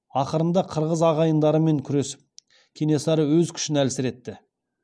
ақырында қырғыз ағайындармен күресіп кенесары өз күшін әлсіретті